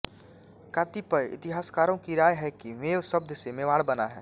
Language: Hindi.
कतिपय इतिहासकारों की राय है कि मेव शब्द से मेवाड़ बना है